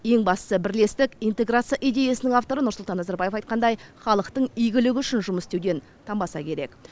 ең бастысы бірлестік интеграция идеясының авторы нұрсұлтан назарбаев айтқандай халықтың игілігі үшін жұмыс істеуден танбаса керек